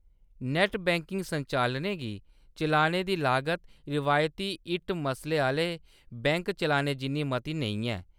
Net banking संचालनें गी चलाने दी लागत रवायती इट्ट मसले आह्‌ले बैंक चलाने जिन्नी मती नेईं ऐ।